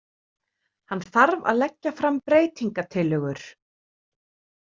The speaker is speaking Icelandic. Hann þarf að leggja fram breytingatillögur.